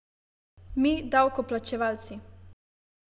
Mi, davkoplačevalci.